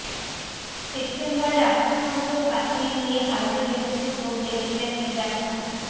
সেপ্টেম্বরে রাষ্ট্রসংঘেও কাশ্মীর নিয়ে ভারতের বিরুদ্ধে তোপ দেগেছিলেন ইমরান খান